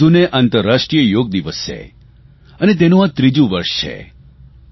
21 જૂને આંતરરાષ્ટ્રીય યોગ દિવસ છે અને તેનું આ ત્રીજું વર્ષ છે